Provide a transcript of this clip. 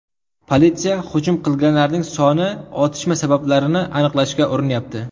Politsiya hujum qilganlarning soni va otishma sabablarini aniqlashga urinyapti.